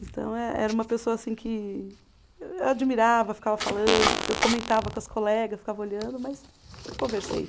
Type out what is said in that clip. Então, eh era uma pessoa assim que eu admirava, ficava falando, comentava com as colegas, ficava olhando, mas nunca conversei.